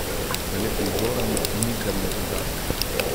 Da le prizora nikdar ne pozabiš.